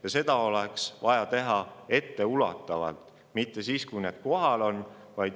Ja seda oleks vaja teha etteulatuvalt, mitte siis, kui kõik kliimamuutused juba kohal on.